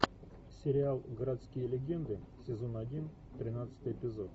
сериал городские легенды сезон один тринадцатый эпизод